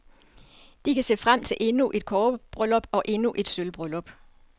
De kan se frem til endnu et kobberbryllup og endnu et sølvbryllup.